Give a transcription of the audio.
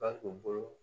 Ba k'u bolo